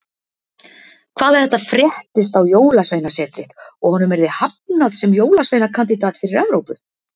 Hvað ef þetta fréttist á Jólasveinasetrið og honum yrði hafnað sem jólasveinakandídat fyrir Evrópu?